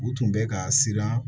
U tun bɛ ka siran